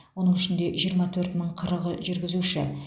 оның ішінде жиырма төрт мың қырықы жүргізуші